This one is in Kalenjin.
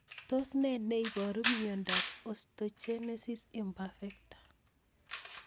Tos ne neiparu miondop Osteogenesis imperfecta?